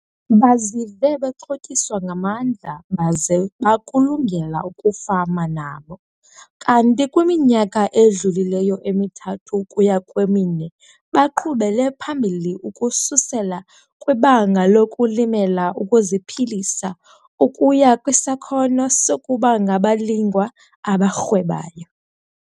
Bazive bexhotyiswa ngamandla baze bakulungela ukufama nabo kanti kwiminyaka edlulileyo emithathu ukuya kwemine, baqhubele phambili ukususela kwibanga lokulimela ukuziphilisa ukuya kwisakhono sokuba ngabalingwa abarhwebayo.